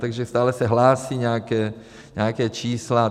Takže stále se hlásí nějaká čísla.